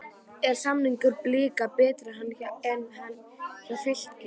Er samningur Blika betri en hann var hjá Fylki?